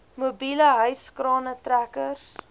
mobiele hyskrane trekkers